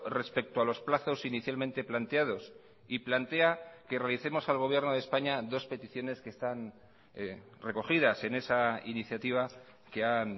respecto a los plazos inicialmente planteados y plantea que realicemos al gobierno de españa dos peticiones que están recogidas en esa iniciativa que han